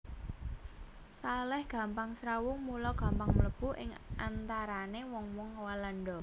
Salèh gampang srawung mula gampang mlebu ing antarané wong wong Walanda